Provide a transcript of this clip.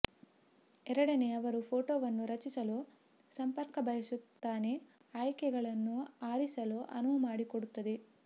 ಎರಡನೇ ಅವರು ಫೋಟೋವನ್ನು ರಚಿಸಲು ಸಂಪರ್ಕ ಬಯಸುತ್ತಾನೆ ಆಯ್ಕೆಗಳನ್ನು ಆರಿಸಲು ಅನುವು ಮಾಡಿಕೊಡುತ್ತದೆ